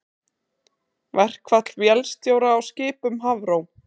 Verkfall vélstjóra á skipum Hafró